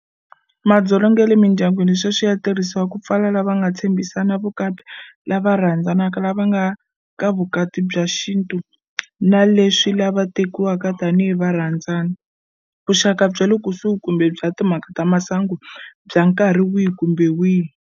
Madzolonga ya le mindyangwini sweswi ya tirhisiwa ku pfala lava va nga tshembhisana vukati, lava rhandzanaka, lava nga ka vukati bya xintu, na leswi lava tekiwaka tanihi varhandzani, vuxaka bya le kusuhi kumbe bya timhaka ta swa masangu bya nkarhi wihi kumbe wihi.